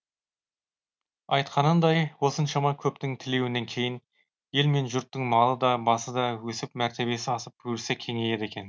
айтқанындай осыншама көптің тілеуінен кейін ел мен жұрттың малы да басы да өсіп мәртебесі асып өрісі кеңейеді екен